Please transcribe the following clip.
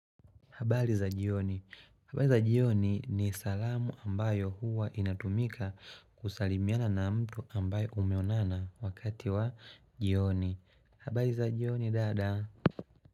Habari za jioni. Habari za jioni ni salamu ambayo huwa inatumika kusalimiana na mtu ambaye umeonana wakati wa jioni. Habari za jioni dada.